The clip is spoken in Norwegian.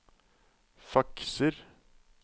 fakser